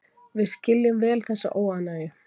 Við skiljum vel þessa óánægju